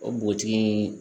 O butigi